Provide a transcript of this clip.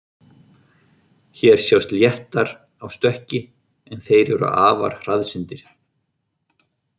Hér sjást léttar á stökki, en þeir eru afar hraðsyndir.